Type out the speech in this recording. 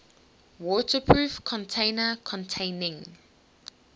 waterproof container containing